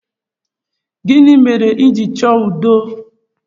Gịnị mere iji chọọ udo?